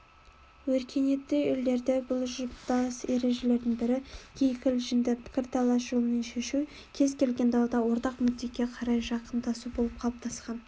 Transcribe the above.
өркениетті елдерде бұлжытпас ережелерінің бірі кикілжіңді пікірталас жолымен шешу кез-келген дауда ортақ мүддеге қарай жақындасу болып қалыптасқан